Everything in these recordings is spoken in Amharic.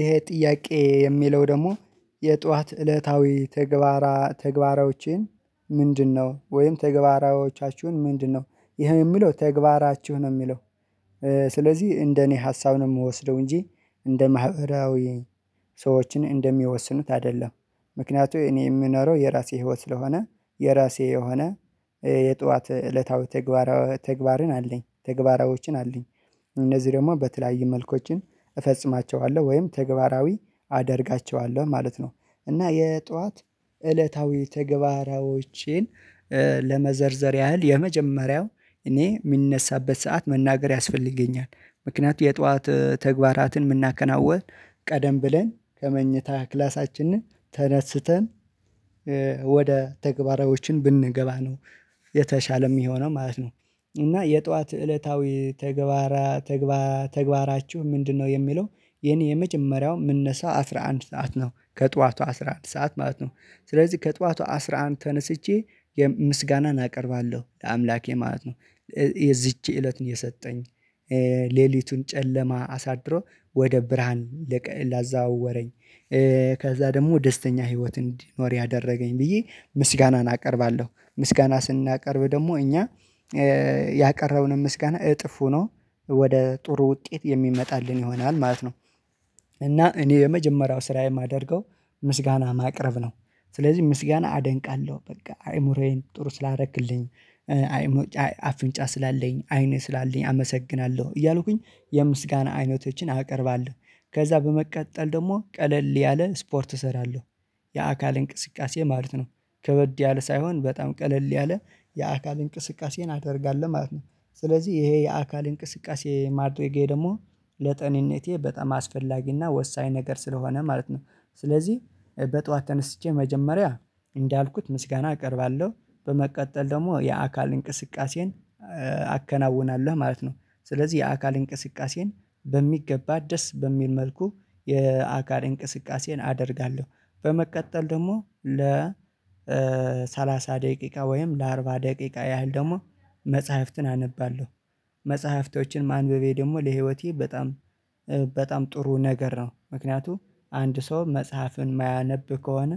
ይሄ ጥያቄ የሚለው ደግሞ የጧት እለታዊ ተግባራ ተግባራዎቼን ምንድነው ወይም ተግባሯቻችሁ ምንድነው? ይሄ የሚለው ተግባራችሁ ነው የሚለው። ስለዚህ እንደኔ ሀሳብ ነው የምወስደው እንጂ እንደ ማህበራዊ ሰዎችን እንደሚወስኑት አይደለም። ምክንያቱም እኔ የምኖረው የራሴ ህይወት ስለሆነ የራሴ የሆነ የጧት እለታዊ ተግባር ተግባርን አለኝ ተግበራዎችን አለኝ። እነዚህ ደግሞ በተለያዩ መልኮችን እፈጽማቸዋለሁ ወይም ተግበራዊ አደርጋቸዋለሁ ማለት ነው። እና የጧት እለታዊ ትግበራዎቼን ለመዘርዘር ያህል የመጀመሪያው እኔ የምንነሳበት ሰዓት መናገር ያስፈልገኛል። ምክንያቱም የጧት ተግባራትን የምናከናውን ቀደም ብለን ከመኝታ ክላሳችንን ተነስተን ወደ ተግባራዎችን ብንገባ ነው የተሻለም የሚሆኖነው ማለት ነው። እና የጧት እለታዊ ተግባራ ተግባራ ተግባራችሁ ምንድነው? የሚለው የኔ የመጀመሪያው ምነሳው አስራ አንድ ሰዓት ነው ከጧቱ አስራ አንድ ሰዓት ማለት ነው። ስለዚህ ከጧቱ አስራ አንድ ተነስቼ ምስጋናን አቀርባለሁ ለአምላኬ ማለት ነው። የዚች እለት የሰጠኝ ሌሊቱን ጨለማ አሳድሮ ወደ ብርሃን ላዛዋውረኝ። ከዛ ደግሞ ደስተኛ ህይወት እንዲድኖር ያደረገኝ ብዬ ምስጋናን አቀርባለሁ ምስጋና ስናቀርብ ደግሞ እኛ ያቀረብንን ምስጋና እጥፍ ሆኖ ወደ ጥሩ ውጤት የሚመጣልን ይሆናል ማለት ነው። እና እኔ የመጀመሪያው ስራ የማደርገው ምስጋና ማቅረብ ነው። ስለዚህ ምስጋና አደንቃለሁ በቃ አይምሮዬን ጥሩ ስላደረክልኝ አይምሮዬን አፍንጫ ስላለኝ አይኔ ስላለኝ አመሰግናለሁ እያልኩኝ የምስጋና አይነቶችን አቀርባለሁ። ከዛ በመቀጠል ደግሞ ቀለል ያለ ስፖርት እሰራለሁ የአካል እንቅስቃሴ ማለት ነው። ከበድ ያለ ሳይሆን በጣም ቀለል ያለ የአካል እንቅስቃሴን አደርጋለሁ ማለት ነው። ስለዚህ ይሄ የአካል እንቅስቃሴ ማድረጌ ደግሞ ለጤንነቴ በጣም አስፈላጊና ወሳኝ ነገር ስለሆነ ማለት ነው። ስለዚህ በጧት ተነስቼ መጀመሪያ እንዳልኩት ምስጋና እቀርባለሁ በመቀጠል ደግሞ የአካል እንቅስቃሴን አከናውናለሁ ማለት ነው ስለዚህ የአካል እንቅስቃሴን በሚገባ ደስ በሚል መልኩ የአካል እንቅስቃሴን አደርጋለሁ። በመቀጠል ደግሞ ለ ሰላሳ ደቂቃ ወይም ለአርባ ደቂቃ ያህል ደግሞ መጽሐፍትን አነባለሁ። መጽሐፍቶችን ማንበቤ ደግሞ ለህይወቴ በጣም በጣም ጥሩ ነገር ነው። ምክንያቱም አንድ ሰው መጽሐፍን የማያነብ ከሆነ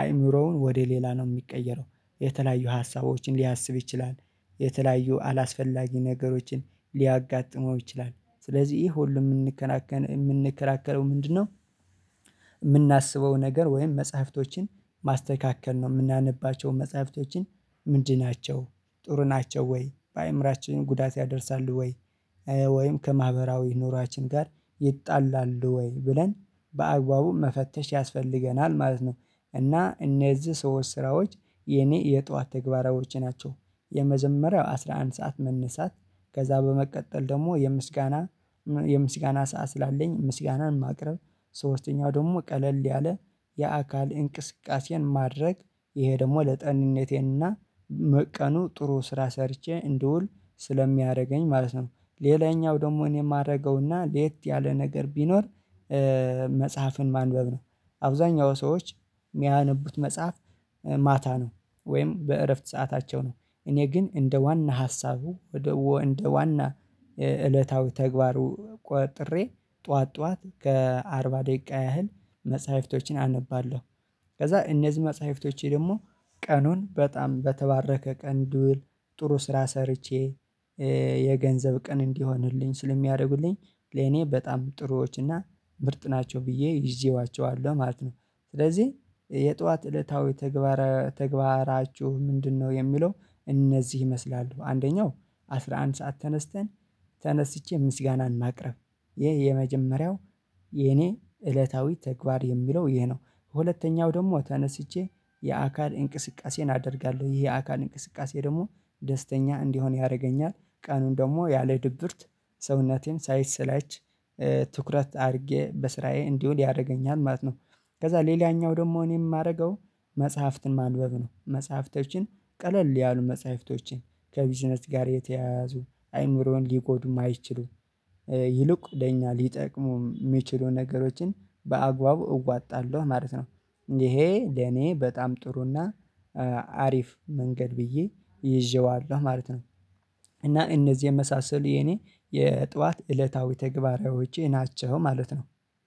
አይምሮውን ወደ ሌላ ነው የሚቀየረው። የተለያዩ ሀሳቦችን ሊያስብ ይችላል የተለያዩ አላስፈላጊ ነገሮችን ሊያጋጥመው ይችላል። ስለዚህ ይሄ ሁሉ የምንከራከረው የምንከራከረው ምንድነው? የምናስበው ነገር ወይም መጽሐፍቶችን ማስተካከል ነው የምናነባቸው መጽሐፍቶችን ምንድን ናቸው? ጥሩ ናቸው ወይ በአእምሮአችን ጉዳት ያደርሳሉ ወይ? ወይም ከማህበራዊ ኑሯችን ጋር ይጣላሉ ወይ ብለን በአግባቡ መፈተሽ ያስፈልገናል ማለት ነው። እና እነዚህ ሰዎች ስራዎች የኔ የጧት ትግበራዎቼ ናቸው። የመጀመሪያው አስራ አንድ ሰዓት መነሳት ከዛ በመቀጠል ደግሞ የምስጋና ሰዓት ስላለኝ ምስጋናን ማቅረብ ሶስተኛው ደግሞ ቀለል ያለ የአካል እንቅስቃሴን ማድረግ ይሄ ደግሞ ለጤንነቴ እና ቀኑ ጥሩ ስራ ሰርቼ እንደውል ስለሚያደርገኝ ማለት ነው ሌላኛው ደግሞ እኔ የማደርገውና ለየት ያለ ነገር ቢኖር መጽሐፍን ማንበብ ነው። አብዛኛው ሰዎች የሚያነቡት መጽሐፍ ማታ ነው ወይም በእረፍት ሰዓታቸው ነው። እኔ ግን እንደ ዋና ሀሳቡ ወደ እንደ ዋና እለታዊ ተግባሩ ቆጥሬ ጠዋት ጠዋት ከአርባ ደቂቃ ያህል መጽሐፍቶችን አነባለሁ። ከዛ እነዚህ መጽሐፍቶቼ ደግሞ ቀኑን በጣም በተባረከ ቀን እንድውል ጥሩ ስራ ሰርቼ የገንዘብ ቀን እንዲሆንልኝ ስለሚያደርጉልኝ ለኔ በጣም ጥሩዎች እና ምርጥ ናቸው ብዬ ይዤዋቸዋለሁ ማለት ነው። ስለዚህ የጧት እለታዊ ተግባራችሁ ምንድነው? የሚለው እነዚህ ይመስላሉ አንደኛው አስራ አንድ ሰዓት ተነስተን ተነስቼ ምስጋናን እናቅርብ ይህ የመጀመሪያው የኔ እለታዊ ተግባር የሚለው ይሄ ነው። ሁለተኛው ደግሞ ተነስቼ የአካል እንቅስቃሴን አደርጋለሁ ይሄ የአካል እንቅስቃሴ ደግሞ ደስተኛ እንድሆን ያደርገኛል። ቀኑን ደግሞ ያለ ድብርት ሰውነቴ ሳይሰለች ትኩረት አድርጌ በስራዬ እንዲሆን ያደርገኛል ማለት ነው። ከዛ ሌላኛው ደግሞ እኔ የማደርገው መጽሐፍትን ማንበብ ነው መጽሐፍቶችን ቀለል ያሉ መጽሐፍቶችን ከቢዝነስ ጋር የተያያዙ አይምሮን ሊጎዱ ማይችሉ ይልቁ ለኛ ሊጠቅሙ የሚችሉ ነገሮችን በአግባቡ እዋጣለሁ ማለት ነው። ይሄ ለኔ በጣም ጥሩና አሪፍ መንገድ ብዬ ይዤዋለሁ ማለት ነው። እና እነዚህ የመሳሰሉ የኔ የጧት እለታዊ ተግባራዎቼ ናቸው ማለት ነው